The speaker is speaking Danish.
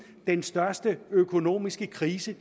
den største økonomiske krise